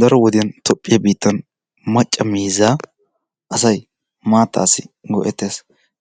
Daro wodiyan tophphiya biittan macca miizzaa asay maattaasi go'ettes.